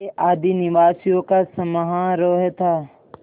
के आदिनिवासियों का समारोह था